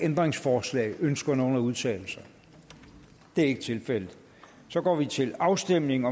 ændringsforslag ønsker nogen at udtale sig det er ikke tilfældet og så går vi til afstemning